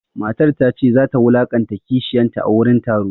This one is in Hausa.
Matar ta ce za ta wulaƙanta kishiyanta a gurin taron.